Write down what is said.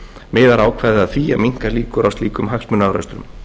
miðar ákvæðið að því að minnka líkur á slíkum hagsmunaárekstrum